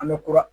An bɛ kura